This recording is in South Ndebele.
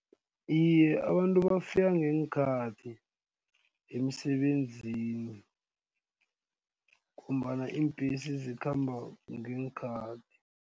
Iye, abantu bafika ngeenkhathi emisebenzini ngombana iimbhesi zikhamba ngeenkhathi.